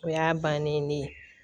O y'a bannen ne ye